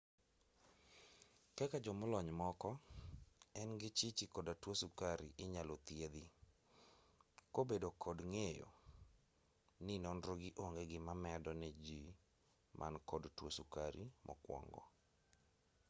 kaka jomolony moko en gi chichi koda tuo sukari inyalo thiedhi kobedo kod ng'eyo ni nonrogi onge gima medo ne jii man kod tuo sukari mokwongo